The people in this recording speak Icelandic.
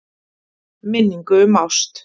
Minningu um ást.